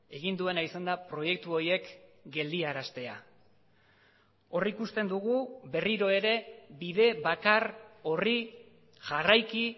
egin duena izan da proiektu horiek geldiaraztea hor ikusten dugu berriro ere bide bakar horri jarraiki